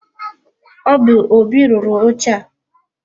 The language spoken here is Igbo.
Ọ bu Óbị rụrụ oche a.